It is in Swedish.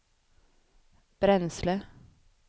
bränsle